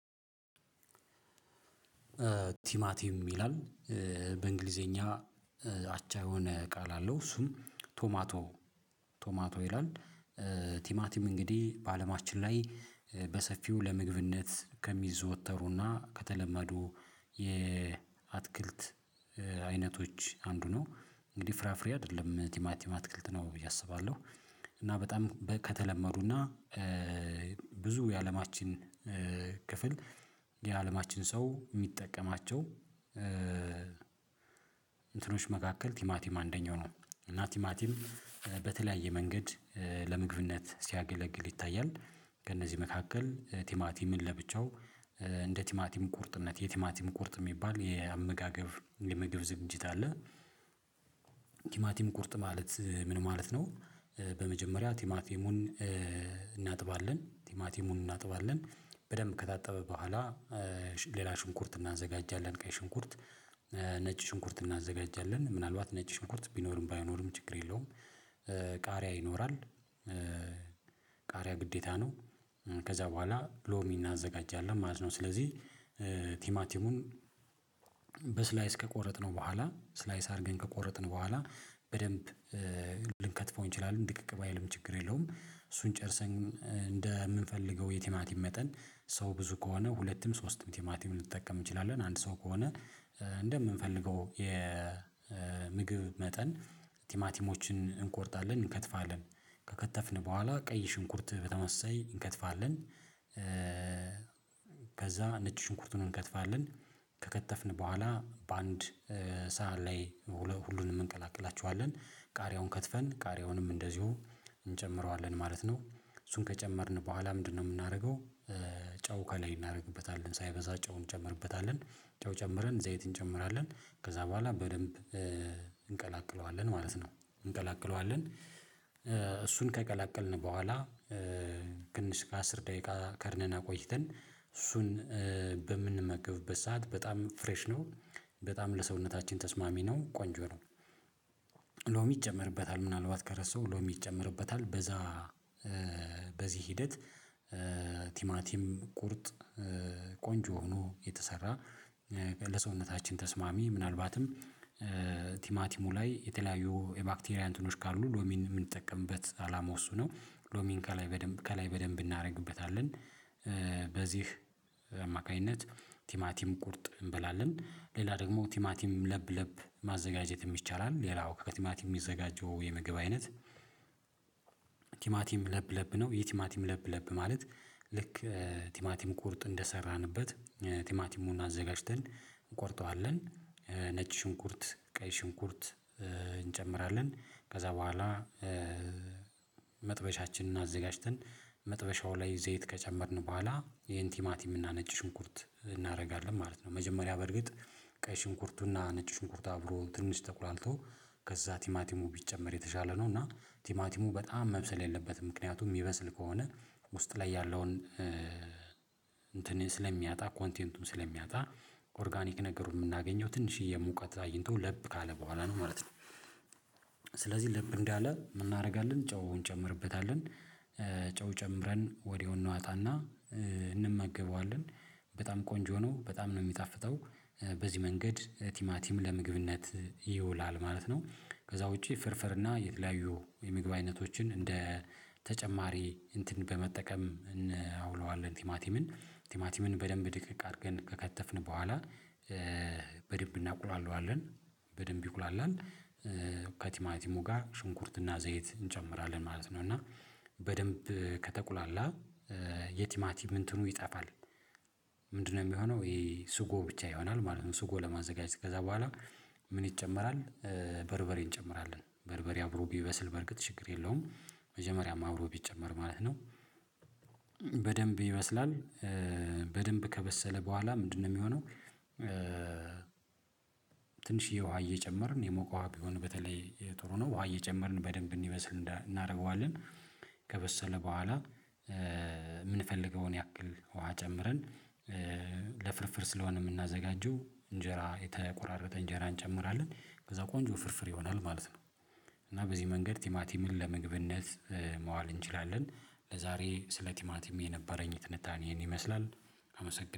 ቲማቲም ይላል በእንግሊዘኛ አቻ የሆነ ቃል አለው እሱም ቶማቶ ቶማቶ ይላል፤ ቲማቲም እንግዲህ በአለማችን ላይ በሰፊው ለምግብነት ከሚዘወተሩና ከተለመዱ የአትክልት አይነቶች አንዱ ነው እንግዲህ ፍራፍሬ አይደለም ቲማ ቲማ አትክልት ነው ብዬ አስባለሁ፤ እና በጣም ከተለመዱና ብዙ የአለማችን ክፍል የአለማችን ሰው የሚጠቀማቸው እንትኖች መካከል ቲማቲም አንደኛው ነው እና ቲማቲም በተለያየ መንገድ ለምግብነት ሲያገለግል ይታያል፤ ከእነዚህ መካከል ቲማቲምን ለብቻው እንደ ቲማቲም ቁርጥነት የቲማቲም ቁርጥ የሚባል የአመጋገብ የምግብ ዝግጅት አለ፤ ቲማቲም ቁርጥ ማለት ምን ማለት ነው በመጀመሪያ ቲማቲሙን እናጥባለን ቲማቲሙን እናጥባለን በደንብ ከታጠበ በኋላ ሌላ ሽንኩርት እናዘጋጃለን ቀይ ሽንኩርት ነጭ ሽንኩርት እናዘጋጃለን ምናልባት ነጭ ሽንኩርት ቢኖርም ባይኖርም ችግር የለውም፤ ቃሪያ ይኖራል ቃሪያ ግዴታ ነው ከዛ በኋላ ሎሚ እናዘጋጃለን ማለት ነው ስለዚህ ቲማቲሙን በስላይ ከቆረጥነው በኋላ ስላይስ አድርገን ከቆረጥን በኋላ በደንብ ልንከትፈው እንችላለን ድቅቅ ባይልም ችግር የለውም እሱን ጨርሰን እንደምንፈልገው የቲማቲም መጠን ሰው ብዙ ከሆነ ሁለትም ሶስትም ቲማቲም ልንጠቀም እንችላለን፤ አንድ ሰው ከሆነ እንደምንፈልገው የምግብ መጠን ቲማቲሞችን እንቆርጣለን እንከትፋለን ከከተፍን በኋላ ቀይ ሽንኩርት በተመሳሳይ እንከትፋለን፤ ከዛ ነጭ ሽንኩርቱን እንከትፋለን ከከተፍን በኋላ በአንድ ሰዓት ላይ ሁሉንም እንቀላቅላቸዋለን፤ ቃሪያውን ከትፈን ቃሪያውንም እንደዚሁ እንጨምረዋለን ማለት ነው፤ እሱን ከጨመርን በኋላ ምንድነው የምናደርገው ጨው ከላይ እናደርግበታለን ሳይበዛ ጨው እንጨምርበታለን ጨው ጨምረን ዘይት እንጨምራለን ከዛ በኋላ በደንብ እንቀላቅለዋለን ማለት ነው እንቀላቅለዋለን እሱን ከቀላቀልን በኋላ ትንሽ እስከ አስር ደቂቃ ከድነን አቆይተን እሱን በምንመገብበት ሰዓት በጣም ፍሬሽ ነው፤ በጣም ለሰውነታችን ተስማሚ ነው ቆንጆ ነው። ሎሚ ይጨመርበታል ምናልባት ከረሳሁ ሎሚ ይጨመርበታል በዛ በዚህ ሂደት ቲማቲም ቁርጥ ቆንጆ ሆኖ የተሰራ ለሰውነታችን ተስማሚ ምናልባትም ቲማቲሙ ላይ የተለያዩ የባክቴሪያን እንትኖች ካሉ ሎሚን የምንጠቀምበት አላማው እሱ ነው ሎሚን ከላይ በደንብ ከላይ በደንብ እናደርግበታለን፤ በዚህ አማካኝነት ቲማቲም ቁርጥ እንበላለን ሌላ ደግሞ ቲማቲም ለብ ለብ ማዘጋጀትም ይቻላል ሌላው ከቲማቲም የሚዘጋጀው የምግብ አይነት ቲማቲም ለብ ለብ ነው የቲማቲም ለብ ለብ ማለት ልክ ቲማቲም ቁርጥ እንደሰራንበት ቲማቲሙን አዘጋጅተን እንቆርጠዋለን ነጭ ሽንኩርት ቀይ ሽንኩርት እንጨምራለን ከዛ በኋላ መጥበሻችንን አዘጋጅተን መጥበሻው ላይ ዘይት ከጨመርን በኋላ ይሄን ቲማቲም እና ነጭ ሽንኩርት እናደርጋለን ማለት ነው መጀመሪያ በርግጥ ቀይ ሽንኩርቱና ነጭ ሽንኩርት አብሮ ትንሽ ተቁላልቶ ከዛ ቲማቲሙ ቢጨመር የተሻለ ነው እና ቲማቲሙ በጣም መብሰል የለበትም ምክንያቱም የሚበስል ከሆነ ውስጥ ላይ ያለውን እንትን ስለሚያጣ ኮንቴንቱን ስለሚያጣ ኦርጋኒክ ነገሩን የምናገኘው ትንሽዬ ሙቀት አግኝቶ ለብ ካለ በኋላ ነው ማለት ነው፤ ስለዚህ ለብ እንዳለ ምን እናደርጋለን ጨውን እንጨምርበታለን ጨው ጨምረን ወዲያው እናወጣና እንመገበዋለን፤ በጣም ቆንጆ ነው በጣም ነው የሚጣፍጠው በዚህ መንገድ ቲማቲም ለምግብነት ይውላል ማለት ነው ከዛ ውጪ ፍርፍርና የተለያዩ የምግብ አይነቶችን እንደ ተጨማሪ እንትን በመጠቀም እናውለዋለን ቲማቲምን ቲማቲምን በደንብ ድቅቅ አድርገን ከከተፍን በኋላ በደንብ እናቁላለዋለን በደንብ ይቁላላል ከቲማቲሙ ጋር ሽንኩርትና ዘይት እንጨምራለን ማለት ነው እና በደንብ ከተቁላላ የቲማቲም እንትኑ ይጠፋል፤ ምንድነው የሚሆነው ይሄ ስጎ ብቻ ይሆናል ማለት ነው ስጎ ለማዘጋጀት ከዛ በኋላ ምን ይጨመራል በርበሬን እንጨምራለን በርበሬ አብሮ ቢበስል በርግጥ ችግር የለውም መጀመሪያም አብሮ ቢጨመር ማለት ነው፤ በደንብ ይበስላል በደንብ ከበሰለ በኋላ ምንድነው የሚሆነው ትንሽዬ ውሃ እየጨመርን የሞቀ ውሃ ቢሆን በተለይ የጥሩ ነው ውሃ እየጨመርን በደንብ እንዲበስል እናደርገዋለን፤ ከበሰለ በኋላ የምንፈልገውን ያክል ውሃ ጨምረን ለፍርፍር ስለሆነ የምናዘጋጀው እንጀራ የተቆራረጠ እንጀራ እንጨምራለን ከዛ ቆንጆ ፍርፍር ይሆናል ማለት ነው። እና በዚህ መንገድ ቲማቲ ምን ለመግብነት መዋል እንችላለን ለዛሬ ስለ ቲማቲም የነበረኝ ትንታኔ ይሄን ይመስላል አመሰግን